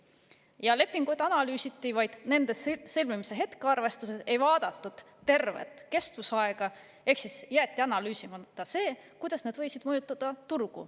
Ja lepinguid analüüsiti vaid nende sõlmimise hetke arvestades, ei vaadatud tervet kestusaega, ehk jäeti analüüsimata see, kuidas need võisid mõjutada turgu.